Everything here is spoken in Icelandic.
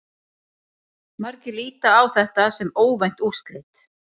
Margir líta á þetta sem óvænt úrslit.